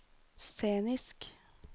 scenisk